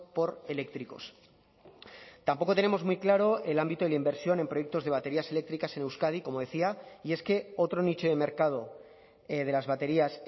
por eléctricos tampoco tenemos muy claro el ámbito de la inversión en proyectos de baterías eléctricas en euskadi como decía y es que otro nicho de mercado de las baterías